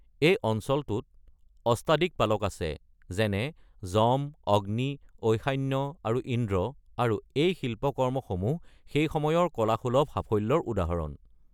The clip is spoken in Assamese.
এই অঞ্চলটোত অষ্টাদিকপালক আছে, যেনে- যম, অগ্নি, ঈশান্য আৰু ইন্দ্ৰ, আৰু এই শিল্পকৰ্মসমূহ সেই সময়ৰ কলাসুলভ সাফল্যৰ উদাহৰণ।